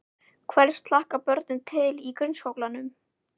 Hvers hlakka börnin til í grunnskólanum?